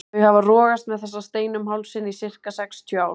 Þau hafa rogast með þessa steina um hálsinn í sirka sextíu ár.